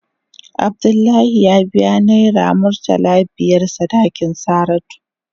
Abdullahi ya biya naira murtala biyar sadakin Saratu.